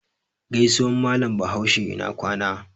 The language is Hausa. Gaisuwan Mallam Bahaushe "ina kwana".